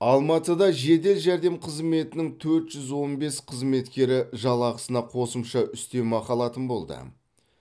алматыда жедел жәрдем қызметінің төрт жүз он бес қызметкері жалақысына қосымша үстемеақы алатын болды